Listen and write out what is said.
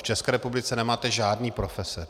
V České republice nemáte žádné profese.